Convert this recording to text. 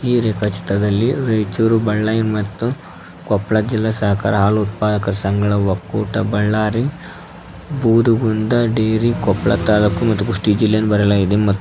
ಈ ರೇಖಾ ಚಿತ್ರದಲ್ಲಿ ರಾಯಚೂರು ಬಳ್ಳಾರಿ ಮತ್ತು ಕೊಪ್ಪಳ ಜಿಲ್ಲಾ ಸಹಕಾರ ಹಾಲು ಉತ್ಪಾದಕ ಸಂಘಗಳ ಒಕ್ಕೂಟ ಬಳ್ಳಾರಿ ಬೂದುಗುಂದ ಡೇರಿ ಕೊಪ್ಪಳ ತಾಲೂಕು ಮತ್ತು ಕುಷ್ಟಗಿ ಜಿಲ್ಲೆ ಎಂದು ಬರೆಯಲಾಗಿದೆ ಮತ್ತು--